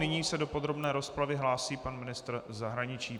Nyní se do podrobné rozpravy hlásí pan ministr zahraničí.